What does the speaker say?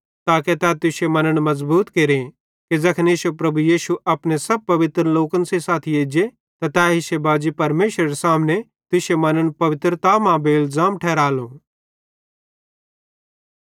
ताके तै तुश्शे मन्न मज़बूत केरे कि ज़ैखन इश्शो प्रभु यीशु अपने सब पवित्र लोकन सेइं साथी एज्जे त तै इश्शे बाजी परमेशरेरे सामने तुश्शे मन्न पवित्रता मां बेइलज़ाम ठहरालो